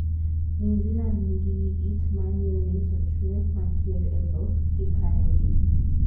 New Zealand nigi yiit ma nyilni to chwe makier e dhok kikayogi.